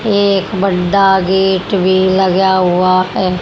एक बंदा गेट भी लगा हुआ है।